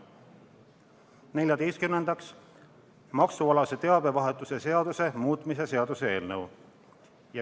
Neljateistkümnendaks, maksualase teabevahetuse seaduse muutmise seaduse eelnõu.